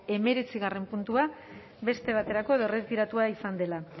hemeretzigarrena puntua beste baterako edo erretiratua izan dela